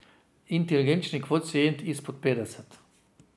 Inteligenčni kvocient izpod petdeset.